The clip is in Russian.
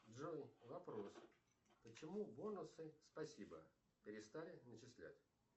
джой вопрос почему бонусы спасибо перестали начислять